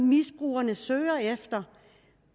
misbrugerne søger efter